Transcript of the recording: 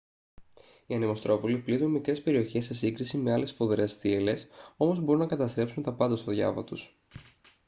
οι ανεμοστρόβιλοι πλήττουν μικρές περιοχές σε σύγκριση με άλλες σφοδρές θύελλες όμως μπορούν να καταστρέψουν τα πάντα στο διάβα τους